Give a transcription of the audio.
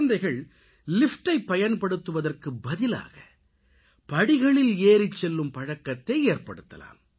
குழந்தைகள் லிஃப்டைப் பயன்படுத்துவதற்கு பதிலாக படிகளில் ஏறிச்செல்லும் பழக்கத்தை ஏற்படுத்தலாம்